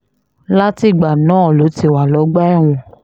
látìgbà náà ló ti wà lọ́gbà ẹ̀wọ̀n